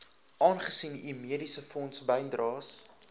aangesien u mediesefondsbydraes